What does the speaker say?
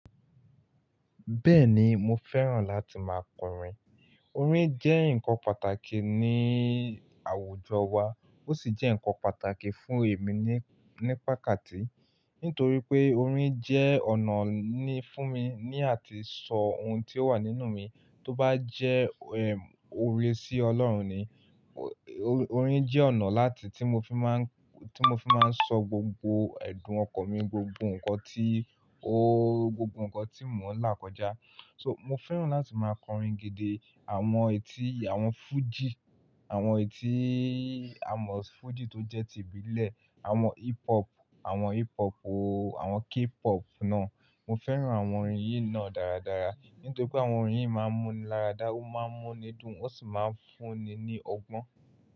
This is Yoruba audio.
Bẹ́ẹ̀ni, mo fẹ́ràn láti máa kọrin. Orin jẹ́ nǹkan pàtàkì ní àwùjọ wa, ó sì jẹ́ nǹkan pàtàkì fún èmi ní, ní pàkati Nítorí pé orin jẹ́ ọ̀nà ní fún mi ní àti sọ ohun tí ó wà nínú mi tó bá jẹ́ ẹ̀ òwe sí Ọlọ́run ni. Orin jẹ́ ọ̀nà láti tí mo fi máa ń, tí mo fi máa ń sọ gbogbo ẹ̀dùn ọkàn mi, gbogbo ǹkan tí o, gbogbo ǹkan tí mò ń là kọjá. So, mo fẹ́ràn láti máa kọrin gidi. Àwọn etí, àwọn fújì, àwọn etí àwọn fújì tó jẹ́ ti ìbílẹ̀, àwọn hip hop, àwọn hip hop ooo, àwọn k-pop náà. Mo fẹ́ràn àwọn orin yìí náà dáradára. Nítorí pé àwọn orin yìí máa ń mú ni láradá, ó máa ń múni dún, ó sì máa ń fúnni ní ọgbọ́n.